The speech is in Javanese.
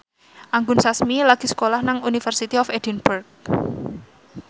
Anggun Sasmi lagi sekolah nang University of Edinburgh